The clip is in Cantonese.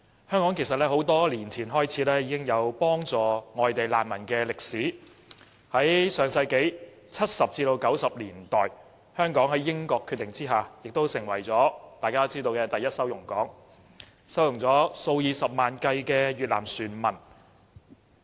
香港在多年前已經有幫助外地難民的歷史，在1970年代至1990年代，香港在英國的決定下成為"第一收容港"，收容了數以十萬計的越南船民。